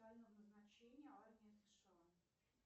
специального назначения армия сша